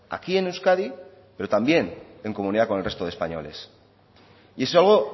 aquí en euskadi pero también en comunidad con el resto de españoles y es algo